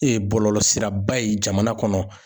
bɔlɔlɔ sira ba ye jamana kɔnɔ